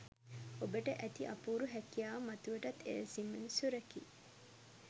ඔබට ඇති අපූරු හැකියාව මතුවටත් එලෙසින්ම සුරැකී